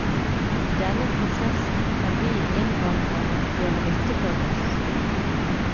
I denne prosessen kan vi innvandrere gjøre nytte for oss.